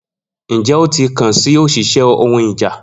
Njẹ o ti kan si oṣiṣẹ ohun ìjà?